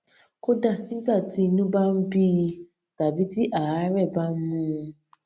kódà nígbà tí inú bá ń bí i tàbí tí àárè bá mú un